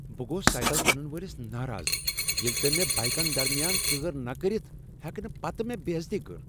بہٕ گوس سایکل کٕنن وٲلس ناراض ییٚلہ تٔمۍ مے بایكن درمیان ژٲر نہٕ كرِتھ ہیکہ نہٕ پتہٕ بے٘ عزتی کٔر ۔